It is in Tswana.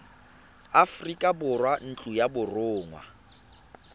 aforika borwa ntlo ya borongwa